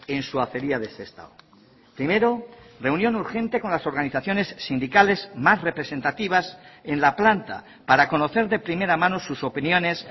en su acería de sestao primero reunión urgente con las organizaciones sindicales más representativas en la planta para conocer de primera mano sus opiniones